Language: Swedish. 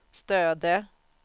Stöde